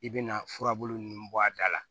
I bɛna furabulu nunnu bɔ a da la